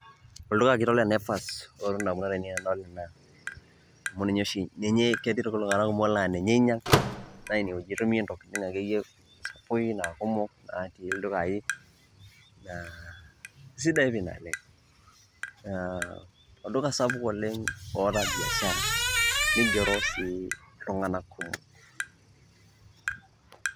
Olduka kitok le Naiva otii indamunot ainei enadol ena amu ninye oshi ketii iltung'anak kumok naa ninye einyang' naa ine wueji itumie intokitin akeyie sapukin naa kumok natii ildukai naa sidai pii naleng' naa olduka sapuk naleng' oata biashara nigero sii iltung'anak kumok.